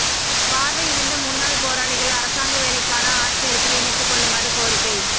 பார்வை இழந்த முன்னாள் போராளிகள் அரசாங்க வேலைக்கான ஆட்சேர்ப்பில் இணைத்துக் கொள்ளுமாறு கோரிக்கை